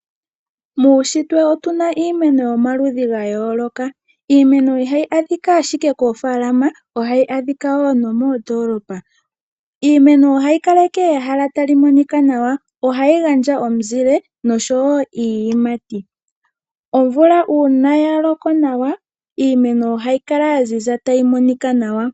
Muushitwe otuna iimeno yomaludhi ga yooloka. Iimeno ihayi adhika ashike koofaalama, ohayi adhika wo nomoondoolopa. Iimeno ohayi kaleke ehala tali monika nawa. Ohayi gandja omuzile noshowo iiyimati. Omvula uuna ya loko nawa, iimeno ohayi kala ya ziza tayi monika nawa.